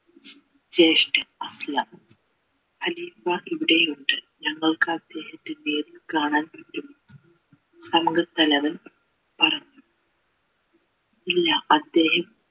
ജേഷ്ഠൻ ഹരീ കുമാർ ഇവിടെ ഉണ്ട് ഞങ്ങൾക്ക് അദ്ദേഹത്തിനെ കാണാൻ പറ്റുമോ അംഗ തലവൻ പറഞ്ഞു ഇല്ല അദ്ദേഹം